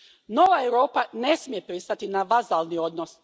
Nova Europa ne smije pristati na vazalni odnos.